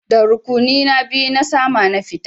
Da rukuni na biyu na sama na fita.